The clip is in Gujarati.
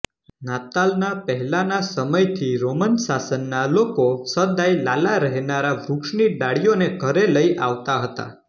નાતાલના પહેલાના સમયથી રોમન શાસનના લોકો સદાય લાલાં રહેનારાં વૃક્ષની ડાળીઓને ઘરે લઇ આવતા હતા